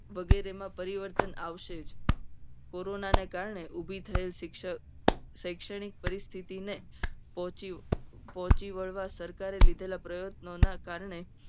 વગેરેમાં પરિવર્તન આવશે. જ કોરોનાને કારણે ઉભી થયેલ શિક્ષણ શૈક્ષણિક પરિસ્થિતિ ને પહોંચી પહોંચી વળવા. સરકારે લીધેલા પ્રયત્નોના કારણે